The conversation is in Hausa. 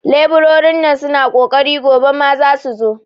leburorin nan suna ƙoƙari, gobe ma su zasu zo.